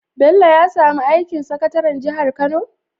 Bello ya samu aikin sakataran jihar kano?